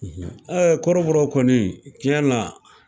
kɔrɔbɔrɔ kɔni tiɲɛ na,